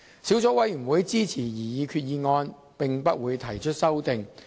小組委員會支持擬議決議案及不會提出任何修正案。